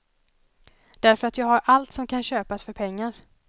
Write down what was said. Därför att jag har allt som kan köpas för pengar.